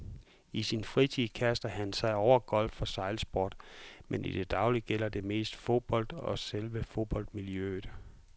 I sin fritid kaster han sig over golf og sejlsport, men i det daglige gælder det mest fodbold og selve fodboldmiljøet.